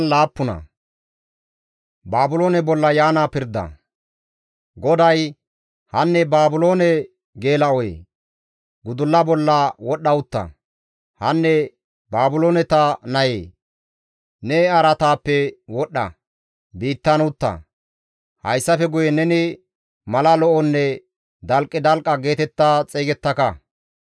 GODAY, «Hanne Baabiloone geela7oyee, gudulla bolla wodhdha utta; hanne Baabilooneta nayee, ne araataappe wodhdha; biittan utta; hayssafe guye neni mala lo7onne dalqidalqa geetetta xeygettaka.